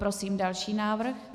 Prosím další návrh.